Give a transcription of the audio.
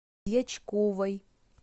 дьячковой